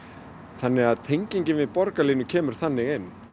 þannig að tengingin við borgarlínu kemur þannig inn